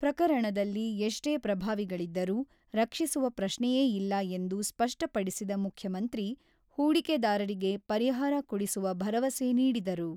ಪ್ರಕರಣದಲ್ಲಿ ಎಷ್ಟೇ ಪ್ರಭಾವಿಗಳಿದ್ದರೂ, ರಕ್ಷಿಸುವ ಪ್ರಶ್ನೆಯೇ ಇಲ್ಲ ಎಂದು ಸ್ಪಷ್ಟಪಡಿಸಿದ ಮುಖ್ಯಮಂತ್ರಿ, ಹೂಡಿಕೆದಾರರಿಗೆ ಪರಿಹಾರ ಕೊಡಿಸುವ ಭರವಸೆ ನೀಡಿದರು.